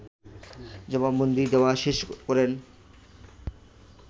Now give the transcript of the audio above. জবানবন্দি দেয়া শেষ করেন